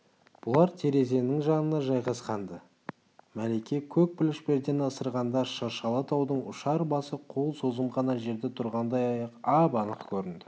бұлар терезенің жанына жайғасқан-ды мәлике көк пүліш пердені ысырғанда шыршалы таудың ұшар басы қол созым ғана жерде тұрғандай ап-анық көрінді